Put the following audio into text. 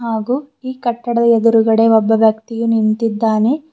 ಹಾಗು ಈ ಕಟ್ಟಡದ ಎದುರುಗಡೆ ಒಬ್ಬ ವ್ಯಕ್ತಿಯು ನಿಂತಿದ್ದಾನೆ.